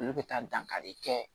Olu bɛ taa dankari kɛ